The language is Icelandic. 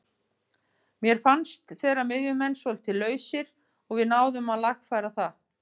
Mér fannst þeirra miðjumenn svolítið lausir og við náðum að lagfæra það.